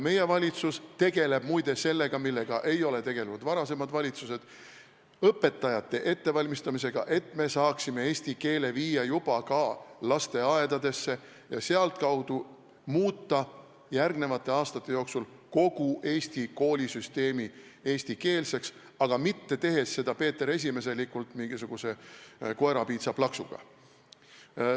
Meie valitsus tegeleb muide ka sellega, millega ei ole tegelenud varasemad valitsused, ehk õpetajate ettevalmistamisega, et saaksime eesti keele viia juba ka lasteaedadesse ja selle kaudu muuta järgnevate aastate jooksul kogu Eesti koolisüsteemi eestikeelseks, aga mitte tehes seda peeteresimeselikult mingisuguse koerapiitsa plaksuga.